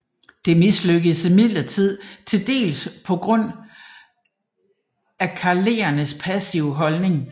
Det mislykkedes imidlertid tildels på grund af karelernes passive holdning